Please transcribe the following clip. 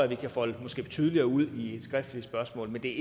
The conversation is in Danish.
vi kan folde tydeligere ud i et skriftligt spørgsmål men det